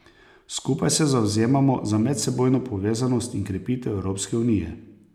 Skupaj se zavzemamo za medsebojno povezanost in krepitev Evropske unije.